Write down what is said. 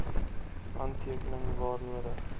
handtekening waar nodig